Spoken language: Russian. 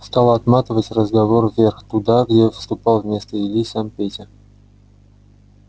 стал отматывать разговор вверх туда где вступал вместо ильи сам петя